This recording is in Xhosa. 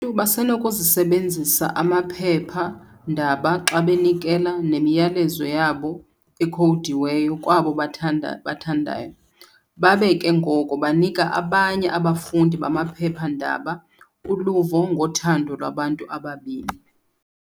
ntu basenokusebenzisa amaphepha-ndaba xa benikela memiyalezo yabo ekhowudiweyo kwabo babathandayo, babe ke ngoko banika abanye abafundi bamaphepha-ndaba uluvo ngothando lwabantu ababini.